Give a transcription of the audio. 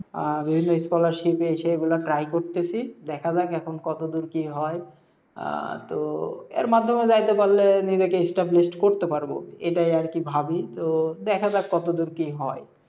আহ বিভিন্ন scholarship এই সেই এইগুলা try করতেসি, দেখা যাক এখন কত দূর কি হয়। আহ তো এর মাধ্যমে যাইতে পারলে নিজেকে established করতে পারবো এইটাই আর কি ভাবি, তো দেখা যাক কত দূর কি হয়।